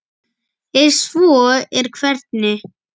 Ef svo er, hvernig?